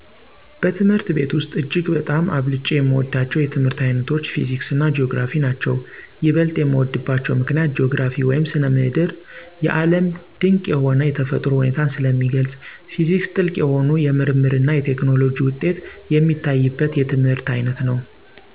በትምህርት ቤት ውሰጥ እጅግ በጣም አብልጨ የምወዳቸው የትምህርት ዓይነቶች ፊዚክስና ጂኦግራፊ ናቸዉ። ይበልጥ የምወድባቸው ምክንያት ጂኦግራፊ ( ስነ ምድር ) የዓለም ድቅ የሆነ የተፈጥሮ ሁኔታን ስለሚገልጽ፤ ፊዚክስ ጥልቅ የሆኑ የምርምርና የቴክኖሎጂ ውጤት የሚታይበት የትምህርት ዓይነት ነው።